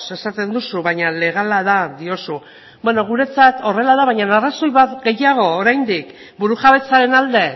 esaten duzu baina legala da diozu beno guretzat horrela da baina arrazoi bat gehiago oraindik burujabetzaren alde